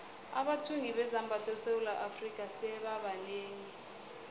abathungi bezambatho esewula afrika sebaba banengi